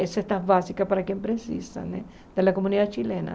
Essa é a básica para quem precisa né da comunidade chilena.